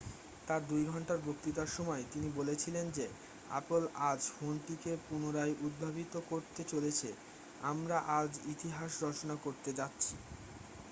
"তার 2 ঘণ্টার বক্তৃতার সময় তিনি বলেছিলেন যে "অ্যাপল আজ ফোনটিকে পুনরায় উদ্ভাবিত করতে চলেছে আমরা আজ ইতিহাস রচনা করতে যাচ্ছি""।